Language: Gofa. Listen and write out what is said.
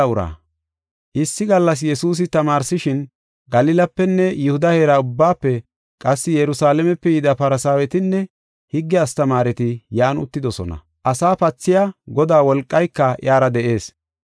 Issi gallas Yesuusi tamaarsishin Galilapenne Yihuda heera ubbaafe qassi Yerusalaamepe yida Farsaawetinne higge astamaareti yan uttidosona. Asaa pathiya Godaa wolqayka iyara de7ees.